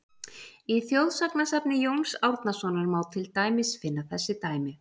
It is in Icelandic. Í þjóðsagnasafni Jóns Árnasonar má til dæmis finna þessi dæmi: